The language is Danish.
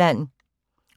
21:40: